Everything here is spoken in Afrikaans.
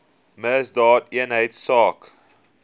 misdaadeenheidsaak